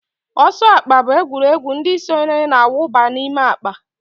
Ọsọ akpa bụ egwuregwu ndị sonyere na-awụba n'ime akpa